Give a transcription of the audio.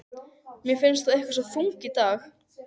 Mér finnst þú eitthvað svo þung í dag.